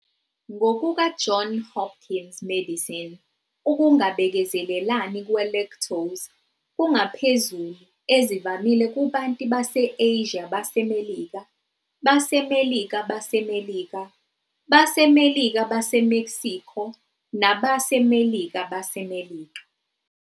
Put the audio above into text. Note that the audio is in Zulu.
"NgokukaJohn Hopkins Medicine, ukungabekezelelani kwe-lactose kungaphezulu ezivamile kubantu base-Asia baseMelika, baseMelika baseMelika, baseMelika baseMexico nabaseMelika baseMelika.